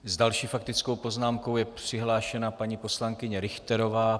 S další faktickou poznámkou je přihlášena paní poslankyně Richterová.